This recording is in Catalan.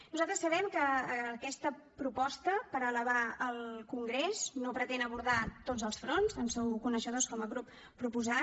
nosaltres sabem que aquesta proposta per elevar al congrés no pretén abordar tots els fronts en sou coneixedors com a grup proposant